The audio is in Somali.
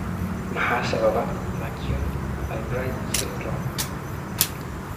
Maxaa sababa McCune Albright syndrome?